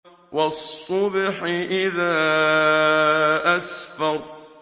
وَالصُّبْحِ إِذَا أَسْفَرَ